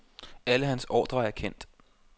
Alle hans ordrer er kendt.